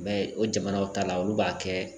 I b'a ye o jamanaw ta la olu b'a kɛ